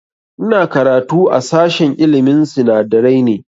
Ina karatu a sashen ilmin sinadarai ne